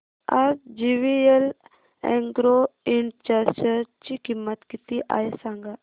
आज JVL agro ind च्या share ची किंमत किती आहे सांगा